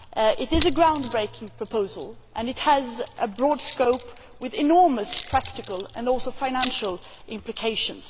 It is a ground breaking proposal and it has a broad scope with enormous practical and financial implications.